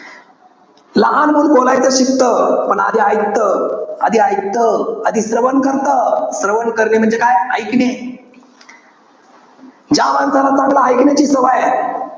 लहान मूल बोलायचं शिकतं. पण आधी ऐकतं. आधी ऐकतं. आधी श्रवण करतं. श्रवण करणे म्हणजे काय? ऐकणे. ज्या माणसाला चांगलं ऐकण्याची सवय आहे.